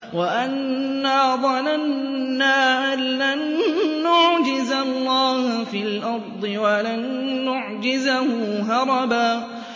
وَأَنَّا ظَنَنَّا أَن لَّن نُّعْجِزَ اللَّهَ فِي الْأَرْضِ وَلَن نُّعْجِزَهُ هَرَبًا